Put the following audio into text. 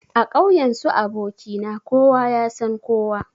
A ƙauyen su aboki na kowa yasan kowa.